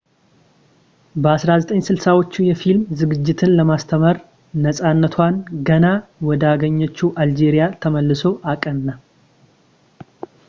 በ1960ዎቹ የፊልም ዝግጅትን ለማስተማር ነፃነቷን ገና ወዳገኘችው አልጄሪያ ተመልሶ አቀና